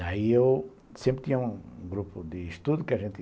Daí eu sempre tinha um grupo de estudo que a gente